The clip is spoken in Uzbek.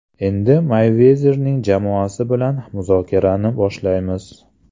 Endi Meyvezerning jamoasi bilan muzokarani boshlaymiz.